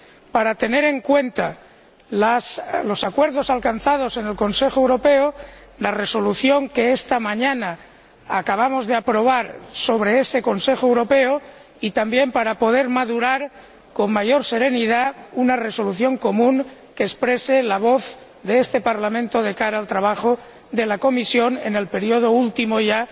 para tener en cuenta los acuerdos alcanzados en el Consejo Europeo y la Resolución que acabamos de aprobar sobre ese Consejo Europeo, así como para poder madurar con mayor serenidad una resolución común que exprese la voz de este Parlamento de cara al trabajo de la Comisión en el período último ya